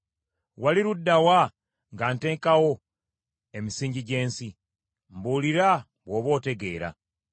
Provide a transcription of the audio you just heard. “Wali ludda wa nga nteekawo emisingi gy’ensi? Mbuulira bw’oba otegeera.